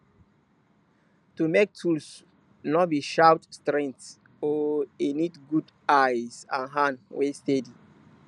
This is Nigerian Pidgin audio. to make tools no be about strength oh e need good eyes and hand wey steady